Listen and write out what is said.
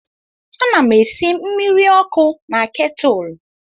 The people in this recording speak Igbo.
Ana m esi mmiri ọkụ na ketụlụ.